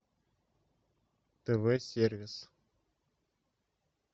тв сервис